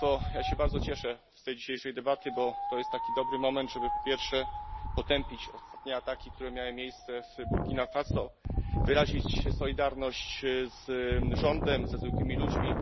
Ja się bardzo cieszę z tej dzisiejszej debaty, bo to jest taki dobry moment, żeby po pierwsze potępić ostatnie ataki, które miały miejsce w Burkina Faso, wyrazić solidarność z rządem, ze zwykłymi ludźmi.